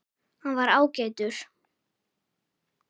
Hann var ágætur